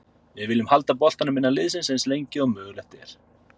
Við viljum halda boltanum innan liðsins eins lengi og mögulegt er.